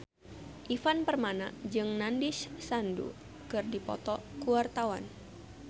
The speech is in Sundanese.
Ivan Permana jeung Nandish Sandhu keur dipoto ku wartawan